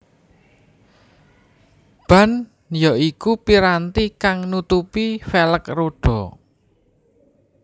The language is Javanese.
Ban ya iku piranti kang nutupi velg rodha